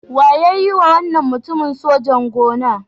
Wa ya yiwa wannan mutumin sojan-gona?